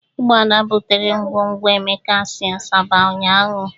Ụgbọala butere ngwongwo Emeka si Asaba ụnyahụ.